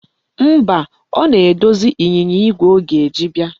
Mba, ọ na-edozi ịnyịnya igwe ọ ga-eji bịa.